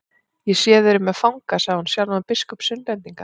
Ég sé þið eruð með fanga, sagði hún, sjálfan biskup Sunnlendinga.